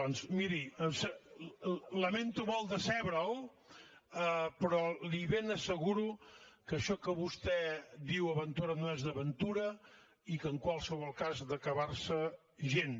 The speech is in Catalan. doncs miri lamento molt decebre’l però li ben asseguro que això que vostè diu aventura no és aventura i que en qualsevol cas d’acabar se gens